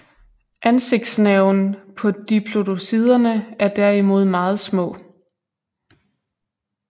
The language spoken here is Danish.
Ansigtsnerven på diplodociderne er derimod meget små